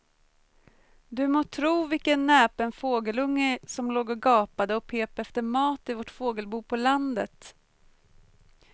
Du må tro vilken näpen fågelunge som låg och gapade och pep efter mat i vårt fågelbo på landet.